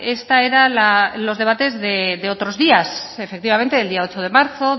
esta era los debates de otros días efectivamente el día ocho de marzo